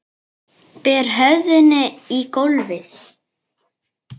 Ber höfðinu í gólfið.